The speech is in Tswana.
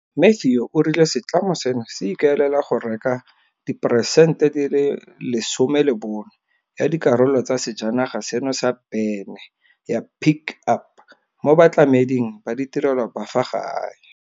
Matthew o rile setlamo seno se ikaelela go reka diperesente 40 ya dikarolo tsa sejanaga seno sa bene ya Pick Up mo batlameding ba ditirelo ba fa gae.